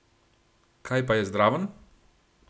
Kaj pa je zraven?